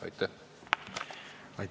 Aitäh!